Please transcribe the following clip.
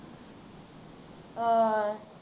ਹਾਂ